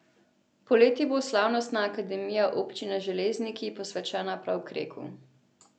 Poleti bo slavnostna akademija občine Železniki posvečena prav Kreku.